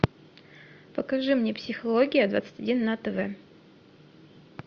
покажи мне психология двадцать один на тв